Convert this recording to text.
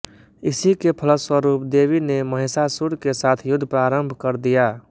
इसी के फलस्वरूप देवी ने महिषासुर के साथ युद्ध प्रारंभ कर दिया